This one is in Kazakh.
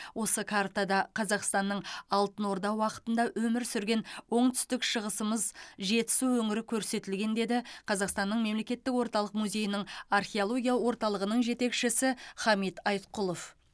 осы картада қазақстанның алтын орда уақытында өмір сүрген оңтүстік шығысымыз жетісу өңірі көрсетілген деді қазақстанның мемлекеттік орталық музейінің археология орталығының жетекшісі хамит айтқұлов